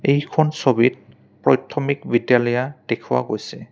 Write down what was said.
এখন ছবিত প্ৰইথমিক বিদ্যালয়া দেখুওৱা গৈছে।